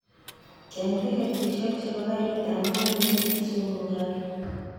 Cheng' tikitishek chebo karit ab maat newendi kisumu karun